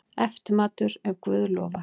Eftirmatur, ef guð lofar.